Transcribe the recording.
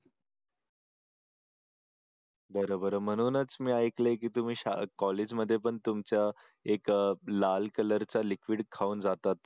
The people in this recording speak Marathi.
बर बर म्हणूनच मी ऐकले की तुम्ही शाळात कॉलेजमध्ये पण तुमच्या एक लाल कलरचा लिक्विड खाऊन जातात